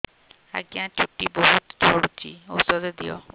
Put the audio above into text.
ଆଜ୍ଞା ଚୁଟି ବହୁତ୍ ଝଡୁଚି ଔଷଧ ଦିଅ